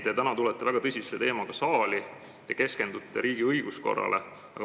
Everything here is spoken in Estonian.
Te tulete täna väga tõsise teemaga siia saali ja keskendute riigi õiguskorrale.